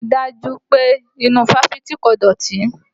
Rí dájú pé inú ifáfitì kò dọ̀tí!